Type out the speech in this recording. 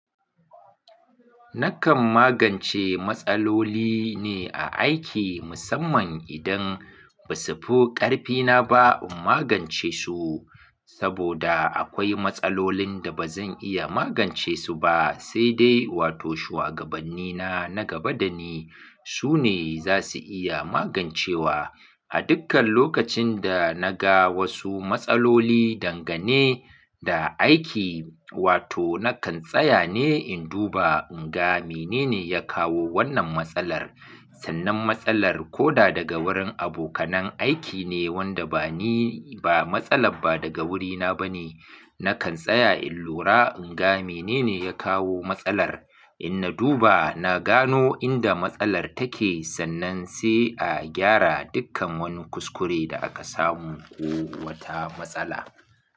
Na kan magance matsaloli ne a aiki, mussaman idan ba su fi karfi na ba in magance su saboda akwai matsalolin da ba zan iya magance su ba, sai dai wato shuwagabbani na nagaba da ni su ne za su iya magance wa. A dukkan lokacin da na ga wasu matsaloli dangane da aiki, wato na kan tsaya ne in duba in ga mene ne ya kawo wannan matsalar. Sannan matsalar ko da daga wurin abokanan aiki ne wanda ba ni ba, matsalar ba daga wurina ba ne, na kan tsaya in lura in ga mene ne ya kawo matsalar. In na duba na gano inda matsalar take sannan sai a gyara dukkan wani kuskure da aka samu ko wata matsala.